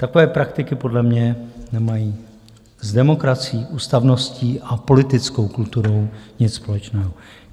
Takové praktiky podle mě nemají s demokracií, ústavností a politickou kulturou nic společného.